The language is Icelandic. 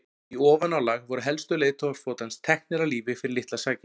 í ofanálag voru helstu leiðtogar flotans teknir af lífi fyrir litlar sakir